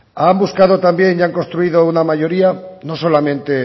han buscado también y han construido una mayoría no solamente